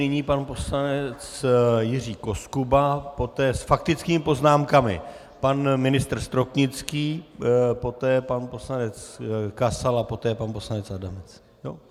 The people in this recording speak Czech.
Nyní pan poslanec Jiří Koskuba, poté s faktickými poznámkami pan ministr Stropnický, poté pan poslanec Kasal a poté pan poslanec Adamec.